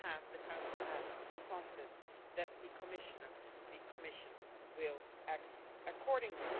The Council has full confidence that the Commissioner, the Commission, will act accordingly.